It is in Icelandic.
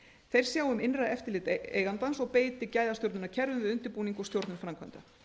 þeir sjá um innra eftirlit eigandans og beiti gæðastjórnunarkerfum við undirbúning og stjórnun framkvæmda